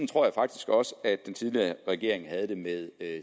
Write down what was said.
tror jeg faktisk også at den tidligere regering havde det med